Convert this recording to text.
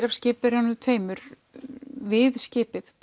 af skipverjunum tveimur við skipið